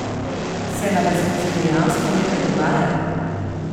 Se na desnici dejansko nekaj dogaja?